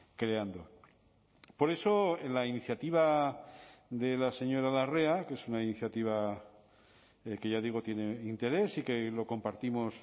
creando por eso en la iniciativa de la señora larrea que es una iniciativa que ya digo tiene interés y que lo compartimos